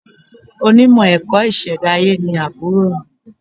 Onímọ̀ ẹ̀kọ́ ìṣẹ̀dáyé ni àbúrò mi.